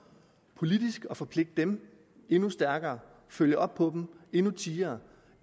politisk at forpligte dem endnu stærkere og følge op på dem endnu tiere